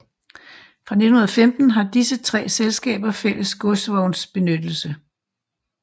Fra 1915 havde disse tre selskaber fælles godsvognsbenyttelse